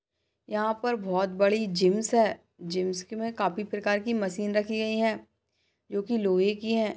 यहा पर बहुत जिम है जिम मे काफी प्रकार कि मशीन रखी गई है जोकि लोहे कि है।